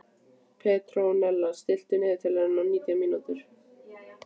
Petrónella, stilltu niðurteljara á nítján mínútur.